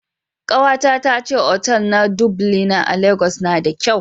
Kawata ta ce otal na Dublina a Legas na da kyau